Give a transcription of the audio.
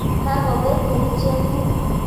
Kakopek kerichek kuk.